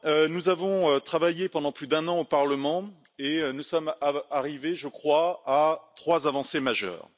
Nous avons travaillé pendant plus d'un an au Parlement et nous sommes arrivés, je crois, à trois avancées majeures.